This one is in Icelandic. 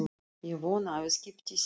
Ég vona að viðskipti þín á